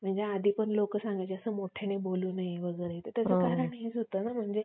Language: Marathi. आधी पण लोक सांगायची की जास्त मोठ्याने बोलू नये वगैरे त्याचं कारण हेच होतं न